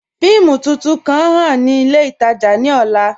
Fíìmù tuntun kan ǹ ḥàn ni ilẹ̀ itaajà ni ọ̀là